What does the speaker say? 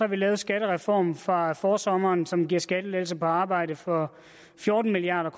vi lavet skattereformen fra forsommeren som giver skattelettelser på arbejde for fjorten milliard